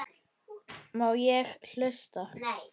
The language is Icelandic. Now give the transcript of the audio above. Má ég hlusta?